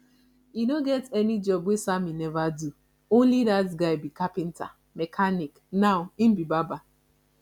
e no get any job wey sammy never do only dat guy be carpenter mechanic and now im be barber